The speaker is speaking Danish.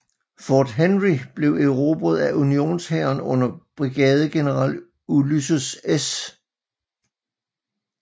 Fort Henry blev erobret af unionshæren under brigadegeneral Ulysses S